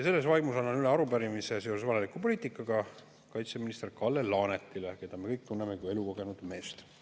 Selles vaimus annan üle arupärimise seoses valeliku poliitikaga kaitseminister Kalle Laanetile, keda me kõik tunneme kui elukogenud meest.